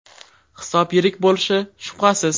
Hisob yirik bo‘lishi shubhasiz.